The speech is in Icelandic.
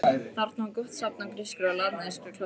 Þarna var gott safn af grískri og latneskri klassík.